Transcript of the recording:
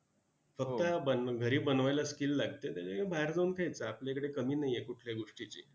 घरी बनवायला skill लागतं, त्याच्यापेक्षा बाहेर जाऊन खायचं! आपल्याकडे कमी नाही आहे कुठल्या गोष्टीची!